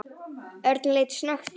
Örn leit snöggt upp.